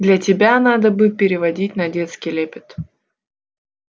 для тебя надо бы переводить на детский лепет